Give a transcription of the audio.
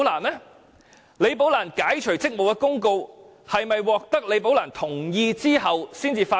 解除李寶蘭職務的公告是否在獲得其同意後才發出？